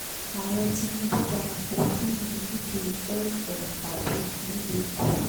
ààrẹ tinubu darapọ̀ kírun yídi eid-el-ka bir nílùú èkó